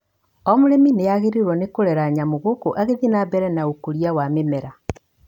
O mũrĩmi nĩagĩrĩirwo nĩ kũrera nyamũ gũkũ agĩthiĩ na mbere na ũkũria wa mĩmera